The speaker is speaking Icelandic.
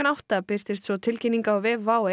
átta birtist tilkynning á vef WOW